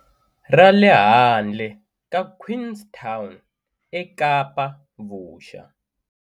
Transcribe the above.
Ra le handle ka Queenstown eKapa-Vuxa.